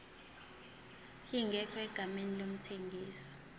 ingekho egameni lomthengisi